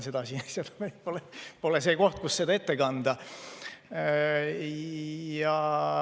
See pole koht, kus seda ette kanda.